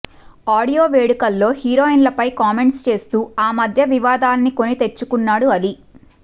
audio వేడుకలో హీరోయిన్లపై comments చేస్తూ ఆమధ్య వివాదాల్ని కొని తెచుకున్నాడు అలీ